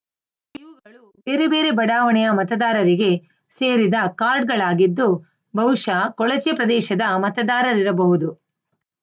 ಬೇರೆ ಬೇರೆ ಬಡಾವಣೆಯ ಮತದಾರರಿಗೆ ಸೇರಿದ ಕಾರ್ಡ್‌ಗಳಾಗಿದ್ದು ಬಹುಶಃ ಕೊಳಚೆ ಪ್ರದೇಶದ ಮತದಾರರಿರಬಹುದು